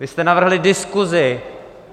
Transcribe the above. Vy jste navrhli diskusi.